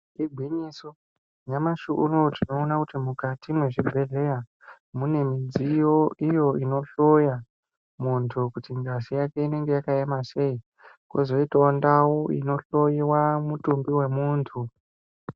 Igwinyiso, nyamashi unowu tinoona kuti mukati mwezvibhehleya, mune midziyo iyo inohloya muntu kuti ngazi yake inenge yakaema sei? kwozoitawo ndau inohlowiwa mutumbi wemuntu.